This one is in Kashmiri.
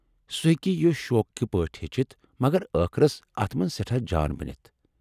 سُہ ہیٚکہ یہِ شوقٕکہِ پٲٹھۍ ہیٚچھِتھ ، مگر ٲخرس اتھ منز سیٹھاہ جان بنِتھ ۔